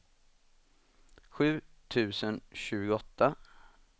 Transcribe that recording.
sju tusen tjugoåtta